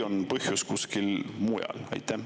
Või põhjus kuskil mujal?